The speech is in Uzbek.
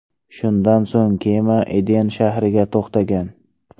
Shundan so‘ng kema Iden shahriga to‘xtagan.